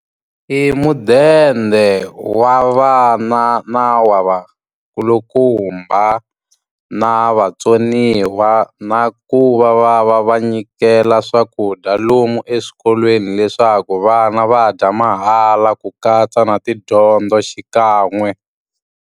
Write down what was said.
I mudende wa vana na wa va kulukumba, na vatsoniwa. Na ku va va va va nyikela swakudya lomu eswikolweni leswaku vana va dya mahala ku katsa na tidyondzo xikan'we.